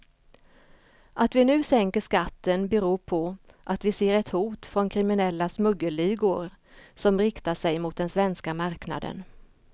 Att vi nu sänker skatten beror på att vi ser ett hot från kriminella smuggelligor som riktar sig mot den svenska marknaden.